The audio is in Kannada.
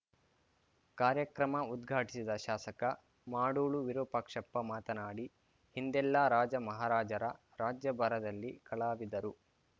ಕಾರ್ಯಕ್ರಮ ಉದ್ಘಾಟಿಸಿದ ಶಾಸಕ ಮಾಡೂಳು ವಿರೂಪಾಕ್ಷಪ್ಪ ಮಾತನಾಡಿ ಹಿಂದೆಲ್ಲ ರಾಜ ಮಹಾರಾಜರ ರಾಜ್ಯಭಾರದಲ್ಲಿ ಕಲಾವಿದರು